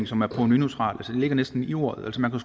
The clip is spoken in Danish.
som er provenuneutral altså det ligger næsten i ordet man kan